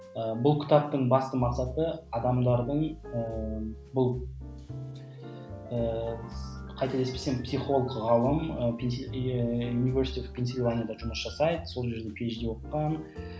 бұл кітаптың басты мақсаты адамдардың ыыы бұл ыыы қателеспесем психолог ғалым ііі университет пенсильванияда жұмыс жасайды сол жерде оқыған